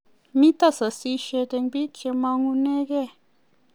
mito sasishet eng biik che mangunegei